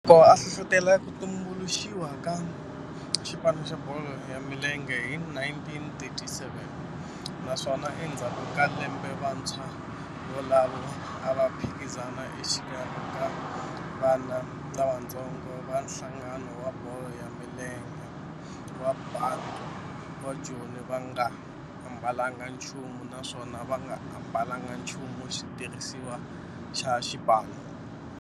Loko a hlohlotela ku tumbuluxiwa ka xipano xa bolo ya milenge hi 1937 naswona endzhaku ka lembe vantshwa volavo a va phikizana exikarhi ka vana lavatsongo va nhlangano wa bolo ya milenge wa Bantu wa Joni va nga ambalanga nchumu naswona va nga ambalanga nchumu xitirhisiwa xa xipano.